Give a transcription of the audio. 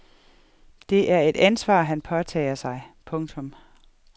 Det er et ansvar han påtager sig. punktum